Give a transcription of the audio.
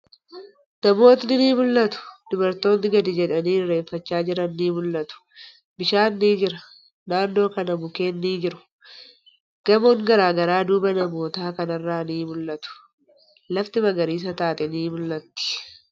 Namootni ni mul'atu. Dubartootni gadi jedhanii irreeffachaa jiran ni mul'atu. Bishaan ni jira. Naannoo kana mukkeen ni jiru. Gamoon garagaraa duuba namootaa kanarraa ni mul'atu. Lafti magariisa taate ni mul'atti.